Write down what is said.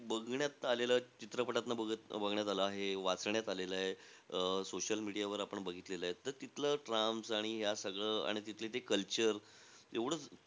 बघण्यात आलेलं चित्रपटातनं बग बघण्यात आलेलं आहे, वाचण्यात आलेलं आहे, अं social media वर आपण बघितलेलं आहे. आणि तिथलं trams आणि या सगळं आणि तिथलं ते culture एव्हडं,